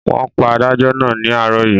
Wọ́n pa adájọ́ náà ní àárọ̀ yìí.